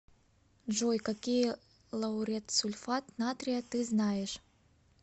джой какие лауретсульфат натрия ты знаешь